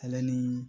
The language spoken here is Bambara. Ale ni